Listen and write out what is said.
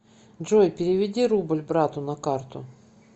джой переведи рубль брату на карту